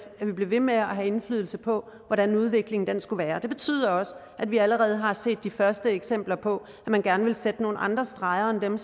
at vi blev ved med at have indflydelse på hvordan udviklingen skulle være det betyder også at vi allerede har set de første eksempler på at man gerne ville sætte nogle andre streger end